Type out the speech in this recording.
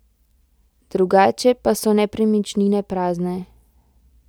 Drugače pa so nepremičnine prazne.